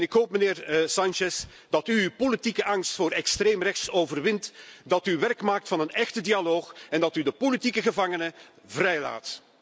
Ik hoop, meneer Sánchez, dat u uw politieke angst voor extreemrechts overwint, dat u werk maakt van een echte dialoog en dat u de politieke gevangenen vrijlaat.